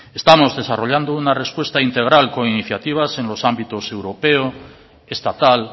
estamos desarrollando una respuesta integral con iniciativas en los ámbitos europeo estatal